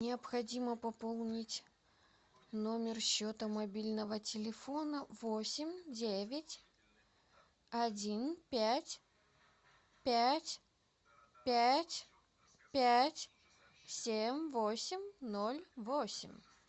необходимо пополнить номер счета мобильного телефона восемь девять один пять пять пять пять семь восемь ноль восемь